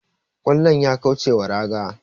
kwallon ya kaucewa raga